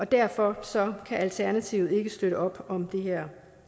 derfor kan alternativet ikke støtte op om det her